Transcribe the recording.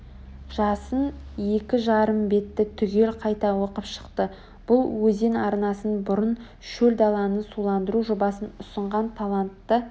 жасын екі жарым бетті түгел қайта оқып шықты бұл өзен арнасын бұрып шөл даланы суландыру жобасын ұсынған талантты